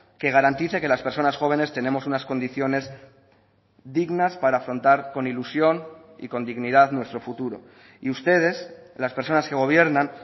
que garantice que las personas jóvenes tenemos unas condiciones dignas para afrontar con ilusión y con dignidad nuestro futuro y ustedes las personas que gobiernan